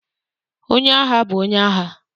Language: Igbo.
Onye agha bụ onye agha.